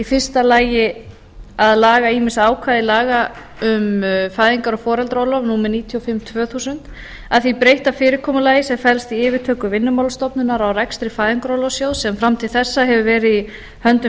fyrsta að laga ýmis ákvæði laga um fæðingar og foreldraorlof númer níutíu og fimm tvö þúsund að því breytta fyrirkomulagi sem felst í yfirtöku vinnumálastofnunar á rekstri fæðingarorlofssjóðs sem fram til þessa hefur verið í höndum